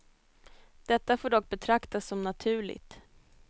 Detta får dock betraktas som naturligt.